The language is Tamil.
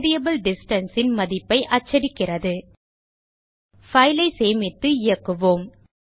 வேரியபிள் distance ன் மதிப்பை அச்சடிக்கிறது file ஐ சேமித்து இயக்குவோம்